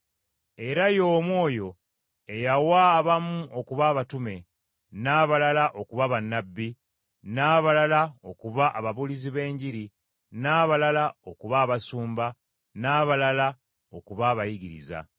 Era y’omu oyo eyawa abamu okuba abatume, n’abalala okuba bannabbi, n’abalala okuba ababuulizi b’enjiri, n’abalala okuba abasumba, n’abalala okuba abayigiriza.